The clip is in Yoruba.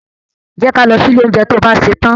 Jẹ́ ka lọ sí ilé oúnjẹ to bá ṣetán.